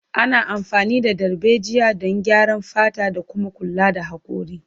Ana amfani da darbejiya don graya fata da kuma kula da hakori.